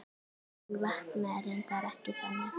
En vaknaði reyndar ekki þannig.